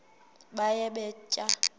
baye bee tyaa